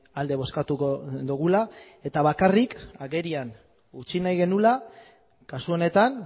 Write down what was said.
alde bozkatuko dugula eta bakarrik agerian utzi nahi genuela kasu honetan